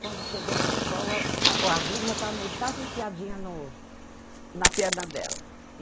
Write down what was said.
Quando chegou na escola, a agulha já estava metade enfiadinha no na perna dela.